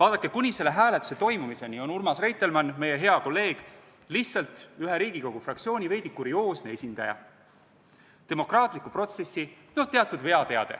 Vaadake, kuni selle hääletuse toimumiseni on Urmas Reitelmann, meie hea kolleeg, lihtsalt ühe Riigikogu fraktsiooni veidi kurioosne esindaja, demokraatliku protsessi teatud veateade,